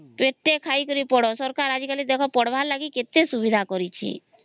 ପେଟେ ଖାଇକରି ପଢା ସରକାର ଆଜି କଲି ଦେଖ ପଢ଼ବା ଲାଗି କେତେ ସୁବିଧା କରିଛି